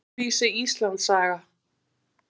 Öðruvísi Íslandssaga.